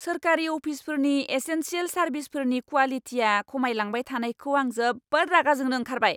सोरखारि अफिसफोरनि एसेनसियेल सारभिसफोरनि क्वालिटिया खमायलांबाय थानायखौ आं जोबोद रागा जोंनो ओंखारबाय!